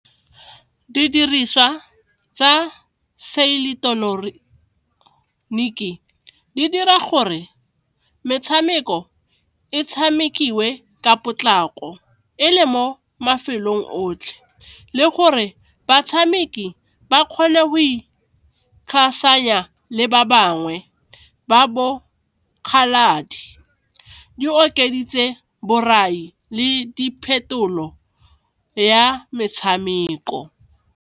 Didiriswa tsa seileteroniki e di dira gore metshameko e tshamekiwe ka potlako e le mo mafelong otlhe le gore batshameki ba kgone go le ba bangwe ba bokgaladi, di okeditse borai le diphetolo ya metshameko.